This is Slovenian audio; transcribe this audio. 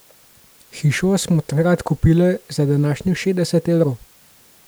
Hišo smo takrat kupile za današnjih šestdeset evrov.